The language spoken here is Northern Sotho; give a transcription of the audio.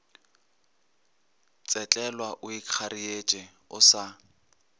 tsetlelwa o ikgareetše o sa